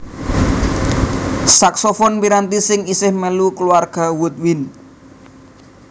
Saksofon piranti sing isih mèlu kulawarga woodwind